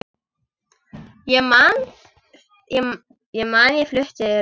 Ég man ég flutti ræðu.